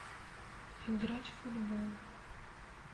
играть в футбол